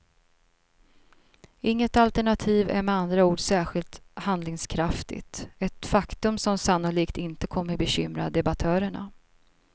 Inget alternativ är med andra ord särskilt handlingskraftigt, ett faktum som sannolikt inte kommer bekymra debattörerna.